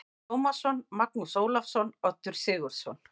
Tómasson, Magnús Ólafsson, Oddur Sigurðsson